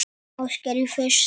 Ásgeir: Í fyrsta?